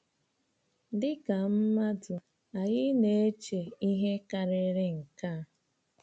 Dị ka mmadụ, anyị na-eche ihe karịrị nke a.